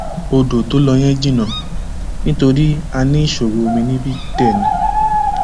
ọdọ tó lọ yẹn jìnnà nítorí a ní ìṣòro omi níbí dé ni